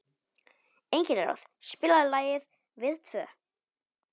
Engilráð, spilaðu lagið „Við tvö“.